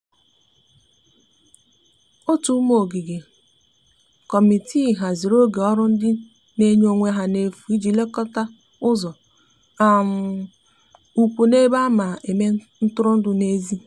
ótu ụmụ ogige/ kọmitịị hazịrị oge ọrụ ndi n'enye onwe ha n'efu ịji lekota ụzo um ukwu n'ebe ana eme ntụrụndụ n'ezi